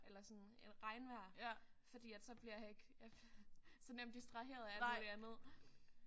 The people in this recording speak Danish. Eller sådan et regnvejr. Fordi at så bliver jeg ikke så nemt distraheret af alt muligt andet